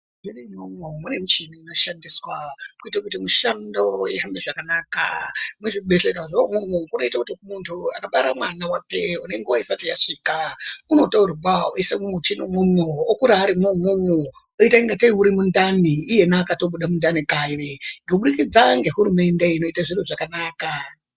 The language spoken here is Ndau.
Muzvibhehlera mwoimwomwo mune michini inoshandiswa kuite kuti mishando ihambe zvakanaka muzvibhehlera zve umwomwo munoite kuti munhu akabara mwana wake unenguwa yake isati yasvika unotorwa oiswa mumuchini umwomwo okura arimwo umwomwo oita kungatei urimundani iyena akatobuda mundani kare kubudikidza ngehurumende inoite zviro zvakanaka.